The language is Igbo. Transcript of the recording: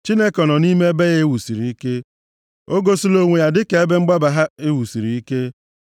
Chineke nọ nʼime ebe ya e wusiri ike; o gosila onwe ya dịka ebe mgbaba ha e wusiri ike.